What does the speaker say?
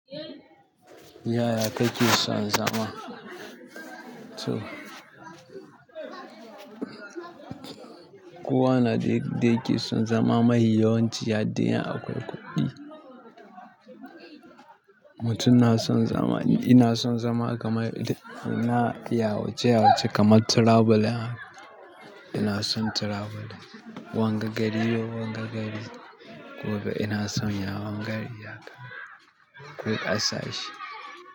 Yaya kake sa zama? To. Kowa na yadda yakeson zama me yawan ci har dai akwai kuɗi. Mutum na son zama, ina son zama kamar ina yawace-yawace kamar traveling. Ina son traveling. Wanga gari yau wanga gari. Gobe ina son ya wanga gari haka. Kwai ƙasashe.